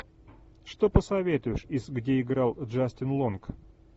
что посоветуешь из где играл джастин лонг